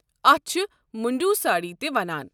اتھ چھِ مُنٛڈوٗ ساڑی تہِ وَنان۔